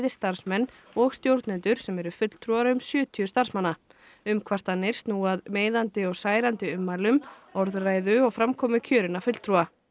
starfsmenn og stjórnendur sem eru fulltrúar um sjötíu starfsmanna umkvartanir snúi að meiðandi og særandi ummælum orðræðu og framkomu kjörinna fulltrúa